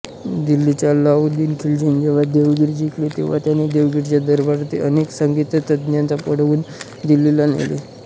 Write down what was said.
दिल्लीच्या अल्लाउद्दीन खिलजीने जेव्हा देवगिरी जिंकले तेव्हा त्याने देवगिरीच्या दरबारातील अनेक संगीततज्ज्ञांना पळवून दिल्लीला नेले